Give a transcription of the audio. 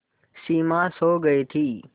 सिमा सो गई थी